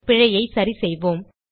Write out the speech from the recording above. பிழையைச் சரிசெய்வோம்